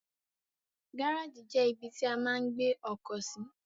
Gáràjì jẹ́ ibi tí a máa ń gbé ọkọ̀ sí.